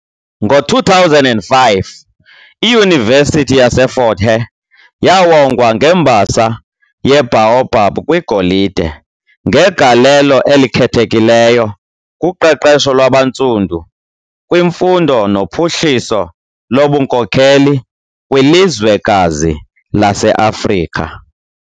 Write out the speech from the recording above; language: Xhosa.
Ngo2005, iYunivesiti yaseFort Hare yawongwa ngeMbasa yeBaobab kwiGolide "ngegalelo elikhethekileyo kuqeqesho lwabaNtsundu kwimfundo nophuhliso lobunkokheli kwilizwekazi laseAfrika."